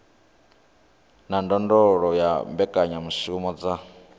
na ndondolo ya mbekanyamushumo dza